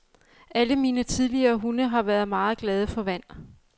Alle mine tidligere hunde har været meget glade for vand.